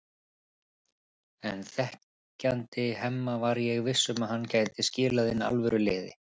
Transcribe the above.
En þekkjandi Hemma var ég viss um að hann gæti skilað inn alvöru liði.